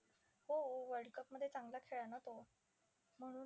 हो world cup मध्ये चांगला खेळला ना तो.